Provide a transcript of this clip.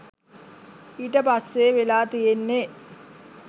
ඊට පස්සේ වෙලා තියෙන්නේ